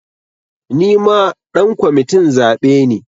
Nima ɗan kwamitin zaɓe ne